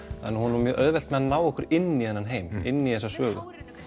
að hún á mjög auðvelt með að ná okkur inn í þennan heim inn í þessa sögu